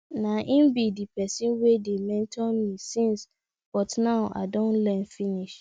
na im be the person wey dey mentor me since but now i don learn finish